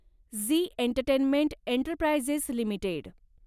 Zee entertainment enterprises limited